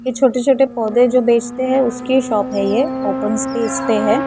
ये छोटे छोटे पौधे जो बेचते हैं उसकी शॉप है ये ओपन स्पेस पे है।